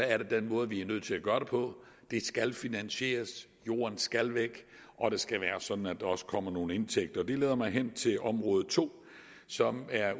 er det den måde vi er nødt til at gøre det på det skal finansieres jorden skal væk og det skal være sådan at der også kommer nogle indtægter det leder mig hen til område to som er